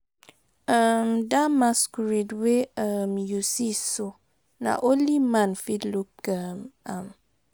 um Dat masquerade wey um you see so, na only man fit look um am